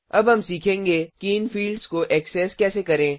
अब हम सीखेंगे कि इन फिल्ड्स को ऐक्सेस कैसे करें